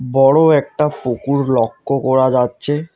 বড় একটা ফুকুর লক্ষ্য করা যাচ্ছে।